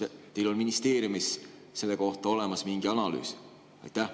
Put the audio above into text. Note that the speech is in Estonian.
Kas teil on ministeeriumis selle kohta olemas mingi analüüs?